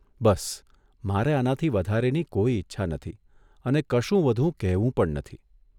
બસ, મારે આનાથી વધારેની કોઇ ઇચ્છા નથી અને કશું વધુ કહેવું પણ નથી.